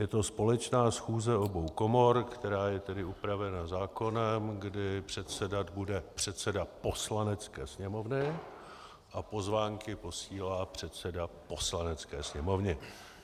Je to společná schůze obou komor, která je tedy upravena zákonem, kdy předsedat bude předseda Poslanecké sněmovny a pozvánky posílá předseda Poslanecké sněmovny.